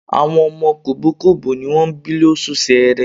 Àwọn ọmọ kògbókògbó ní wọ́n bí lóṣù Ṣẹẹrẹ.